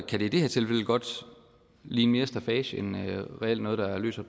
kan det i det her tilfælde godt ligne mere staffage end noget der reelt løser